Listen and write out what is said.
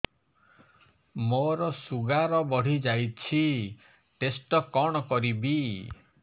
ମୋର ଶୁଗାର ବଢିଯାଇଛି ଟେଷ୍ଟ କଣ କରିବି